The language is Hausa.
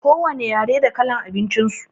Ko wane yare da kalar abincin su.